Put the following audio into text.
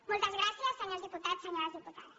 moltes gràcies senyors diputats senyores diputades